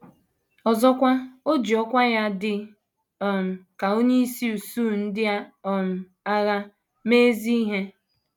Ọzọkwa, o ji ọkwá ya dị um ka onyeisi usuu ndị um agha mee ezi ihe.